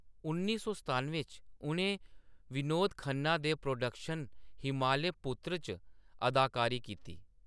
उन्नी सौ सतानुएं च, उʼनें विनोद खन्ना दे प्रोडक्शन हिमालय पुत्र च अदाकारी कीती।